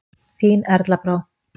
Þín Erla Brá.